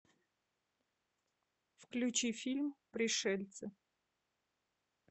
включи фильм пришельцы